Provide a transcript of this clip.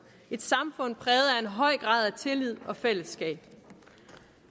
et samfund præget af en høj grad af tillid og fællesskab